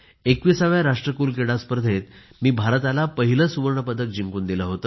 21 व्या राष्ट्रकुल क्रीडा स्पर्धेत मी भारताला पहिले सुवर्ण पदक जिंकून दिले